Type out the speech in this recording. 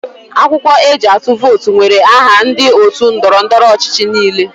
Akwụkwọ eji atụ vootu nwere aha ndị otu ndọrọ ndọrọ ọchịchị niile.